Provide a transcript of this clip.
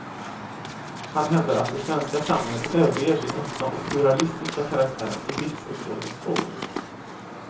Han hävdar att det svenska samhället överger sin öppna och pluralistiska karaktär i livsåskådningsfrågor.